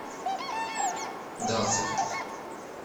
дацик